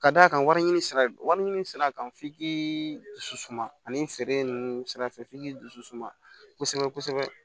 Ka d'a kan wariɲini sira wari ɲini sira kan f'i k'i dusu suma ani feere nunnu sira fɛ f'i k'i dusu suma kosɛbɛ kosɛbɛ